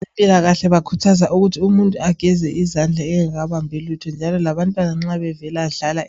Abempilakahle bakhuthaza ukuthi umuntu ageze izandla engakabambi lutho njalo labantwana nxa bevela